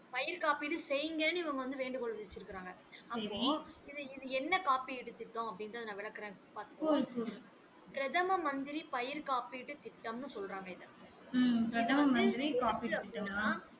பயிர் காப்பீடு செயிங்கன்னு இவங்க வந்து வேண்டுகோள் விதிச்சிருக்காங்க அப்போ இது இது என்ன காப்பீடு திட்டம் அப்படின்றத நா விளக்குறேன் பாத்துகோ பிரதம மந்திரி பயிர் காப்பீட்டு திட்டம்ன்னு சொல்றாங்க இத